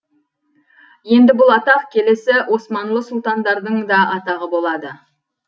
енді бұл атақ келесі османлы сұлтандардың да атағы болады